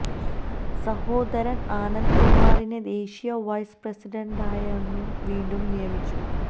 സഹോദരന് ആനന്ദ് കുമാറിനെ ദേശീയ വൈസ് പ്രസിഡന്റായാണു വീണ്ടും നിയമിച്ചത്